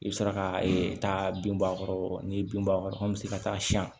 I bɛ sɔrɔ ka ee taa bin bɔ a kɔrɔ n'i ye bin bɔn a kɔrɔ an bɛ se ka taa siyɛn